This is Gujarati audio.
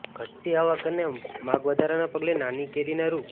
ઘટતી આવક અને માગ વધારાના પગલે નાની કેરીના રૂ